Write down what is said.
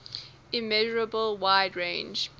immeasurable wide range